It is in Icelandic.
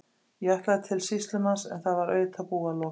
Ég ætlaði til sýslumanns en það var auðvitað búið að loka.